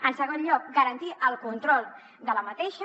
en segon lloc garantir el control d’aquesta